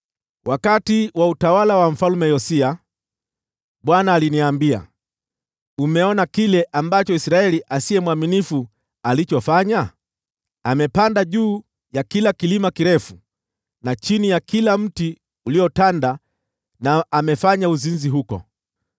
Wakati wa utawala wa Mfalme Yosia, Bwana aliniambia, “Umeona kile Israeli asiye mwaminifu amekifanya? Amepanda juu ya kila kilima kirefu, na chini ya kila mti uliotanda na amefanya uzinzi huko.